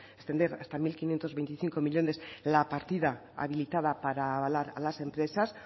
extender hasta mil quinientos veinticinco millónes la partida habilitada para avalar a las empresas